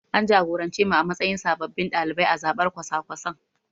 An jagorance mu a matsayin sababbin ɗalibai a zabar kwasa-kwasan.